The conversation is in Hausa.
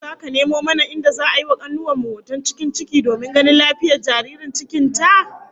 Ko zaka nemo mana inda za'a yi wa kanuwar mu hoton cikin ciki domin ganin lafiyar jaririn cikin ta?